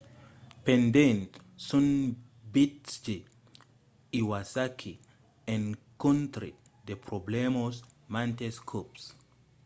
pendent son viatge iwasaki encontrèt de problèmas mantes còps